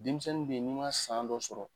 Denmisɛnnin be n'i ma san dɔ sɔrɔ